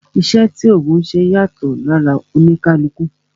Iṣẹ́ tí ògùn ńṣe yàtọ̀ lára oníkálukú